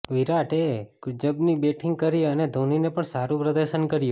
વિરાટે ગજબની બેટિંગ કરી અને ધોનીએ પણ સારું પ્રદર્શન કર્યું